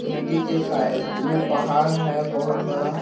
नदी के साइड में पहाड़ है बहोत बड़ा।